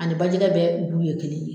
Ani bajɛgɛ bɛɛ ye kelen ye.